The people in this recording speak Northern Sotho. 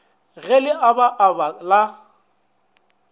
ge le aba aba la